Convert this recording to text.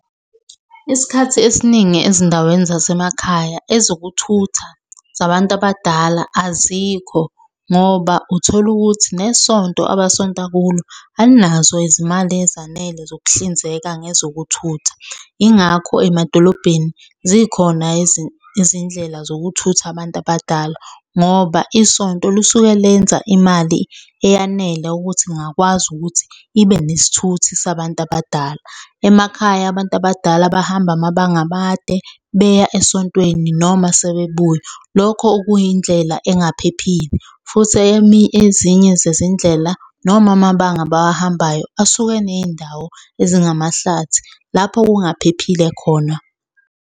Isikhathi esiningi ezindaweni zasemakhaya ezokuthutha zabantu abadala azikho ngoba uthola ukuthi nesonto abasonta kulo alinazo izimali ezanele zokuhlinzeka nge-zokuthutha. Yingakho emadolobheni zikhona izindlela zokuthutha abantu abadala ngoba isonto lusuke lenza imali eyanele ukuthi ingakwazi ukuthi ibe nesithuthi sabantu abadala. Emakhaya abantu abadala bahamba amabanga amade beya esontweni noma sebebuya. Lokho okuyindlela engaphephile, futhi ezinye zezindlela noma amabanga abawahambayo asuke eney'ndawo ezingamahlathi lapho okungaphephile khona.